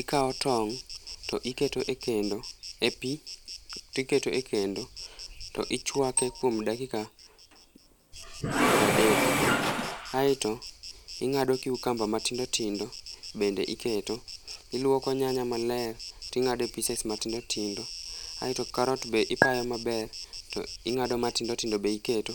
ikawo tong to iketo e kendo e pi to iketo e kendo ichwake kuom dakika piero adek ae to ingado cucumber matindo tindo bende iketo ,iluoko nyanya maler tingade peaces matindo tindo ae to carrot be ipayo maber to ingado matindo tindo be iketo